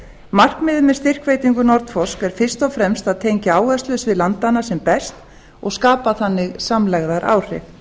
markmiðið með styrkveitingu nordforsk er fyrst og fremst að tengja áherslusvið landanna sem best og skapa þannig samlegðaráhrif